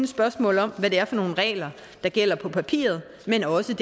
spørgsmål om hvad det er for nogle regler der gælder på papiret men også